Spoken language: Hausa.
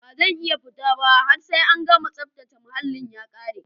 Bazan iya futaba har sai an gana tsaftace muhallin ya kare.